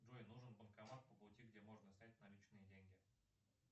джой нужен банкомат по пути где можно снять наличные деньги